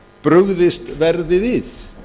brugðist verði við